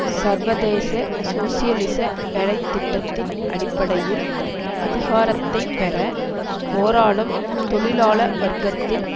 சர்வதேச சோசியலிச வேலை திட்டத்தின் அடிப்படையில் அதிகாரத்தை பெற போராடும் தொழிலாள வர்க்கத்தின்